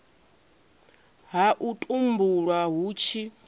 ha u tumbulwa hu tshi